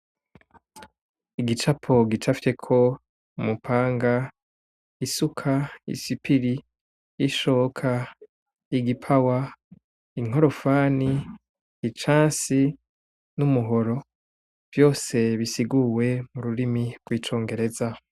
Igicapo gicafyeko umupanga, isuka, isipiri, ishoka, igipawa, inkorofani, icansi, n'umuhoro vyose bisiguwe mu rurimi rwicongereza.